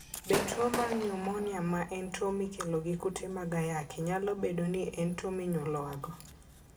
Be tuwo mar nyumonia ma en tuwo mikelo gi kute mag ayaki nyalo bedo ni en tuwo monyuolwago?